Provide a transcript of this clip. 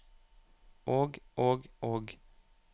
og og og